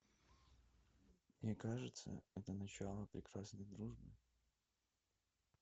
мне кажется это начало прекрасной дружбы